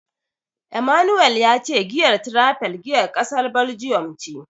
Emmanuel ya ce giyar Tiraifel giyar kasar Baljiyan ce.